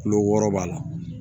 Kulo wɔɔrɔ b'a la